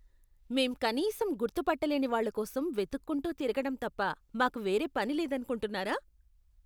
మేం కనీసం గుర్తు పట్టలేని వాళ్ళ కోసం వెతక్కుంటూ తిరగటం తప్ప మాకు వేరే పని లేదనుకుంటున్నారా?